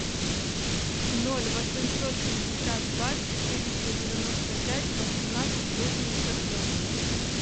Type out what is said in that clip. ноль восемьсот шестьдесят два четыреста девяносто пять восемнадцать восемьдесят ноль